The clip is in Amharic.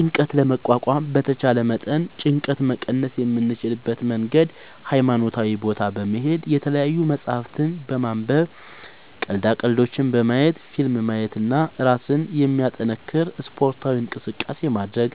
ጭንቀት ለመቋቋም በተቻለ መጠን ጭንቀት መቀነስ የምንችልበት መንገድ ሀይማኖታዊ ቦታ በመሄድ፣ የተለያዪ መፅሀፍት በማንበብ፣ ቀልዳ ቀልዶች በማየት፣ ፊልም ማየት እና እራስን የሚያጠነክር ስፓርታዊ እንቅስቃሴ ማድረግ።